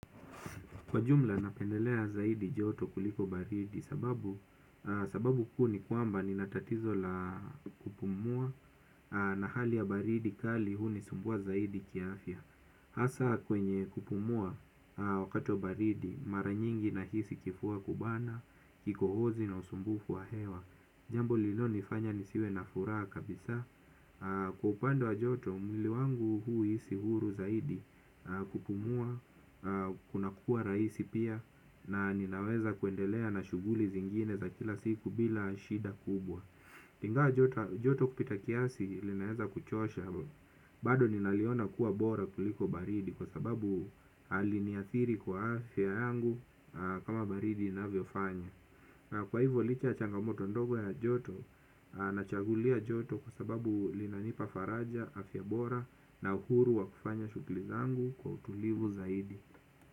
Kwa jumla napendelea zaidi joto kuliko baridi sababu kuu ni kwamba nina tatizo la kupumua na hali ya baridi kali hunisumbua zaidi kiafya. Hasa kwenye kupumua wakati baridi mara nyingi nahisi kifua kubana, kikohozi na usumbufu wa hewa. Jambo lililonifanya nisiwe na furaha kabisa. Kwa upande wa joto mwili wangu huisi huru zaidi kupumua. Kuna kuwa rahisi pia na ninaweza kuendelea na shughuli zingine za kila siku bila shida kubwa ingawa joto kupita kiasi linaweza kuchosha. Bado ninaliona kuwa bora kuliko baridi kwa sababu haliniathiri kwa afya yangu kama baridi inavyo fanya. Na kwa hivyo licha ya changamoto ndogo ya joto na chagulia joto kwa sababu linanipa faraja, afya bora na uhuru wa kufanya shughuli zaangu kwa utulivu zaidi.